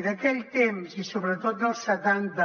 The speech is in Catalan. i d’aquell temps i sobretot dels setanta